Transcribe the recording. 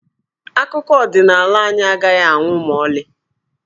Akụkọ ọdịnaala anyị agaghị anwụ ma ọlị.